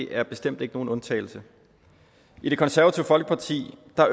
er bestemt ikke nogen undtagelse i det konservative folkeparti